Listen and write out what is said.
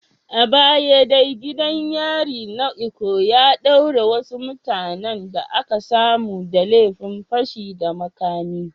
A baya dai gidan yarin na Ikoyi ya daure wasu mutanen da aka samu da laifin fashi da makami.